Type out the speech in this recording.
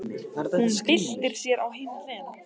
Hún byltir sér á hina hliðina.